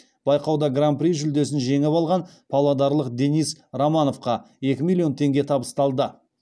байқауда гран при жүлдесін жеңіп алған павлодарлық денис романовқа екі миллион теңге табысталды